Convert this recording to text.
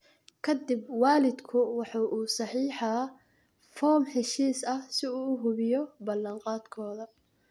Ka dib waalidku waxa uu saxeexaa foom heshiis ah si uu u hubiyo ballan qaadkooda.